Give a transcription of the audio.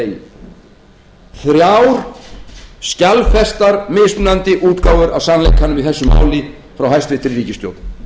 sama degi þrjár skjalfestar mismunandi útgáfur af sannleikanum í þessu máli frá hæstvirtri ríkisstjórn